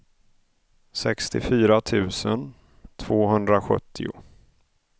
sextiofyra tusen tvåhundrasjuttio